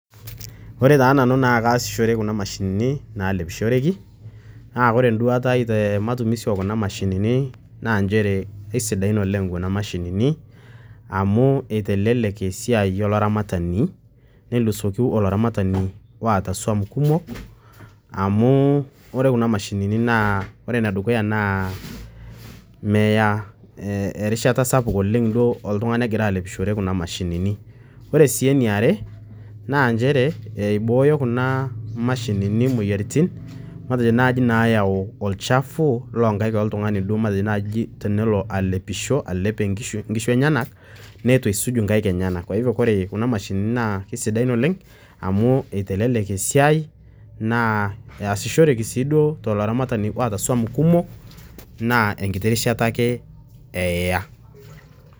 Ore taa nanu naa kaasishore kuna mashini naalepishoreki, naa ore enduata ai tematumizi o kuna mashini naa nchere aisidain oleng kuna mashinini amu eitelelek esiai olaramatani neisul olaramatani oata swan kumok amu ore kuna mashinini, ore enedukuya naa meya erishata duo sapuk oleng oltung'ani egira alepishore kuna mashinini. Ore sii eniare naa nchere, eibooyo kuna mashinini imoyiaritin matejo nai nayau olchafu loo nkaik oltung'ani matejo naai tenelo alepisho, alep inkishu enyena, neitu eisuj inkaik enyena. Kwa hivyo ore kuna mashinini naa kesidain oleng amu eitelelek esiai naa easishoreki sii duo tolaramatani oata swaan kumok, naa enkiti rishata ake eya.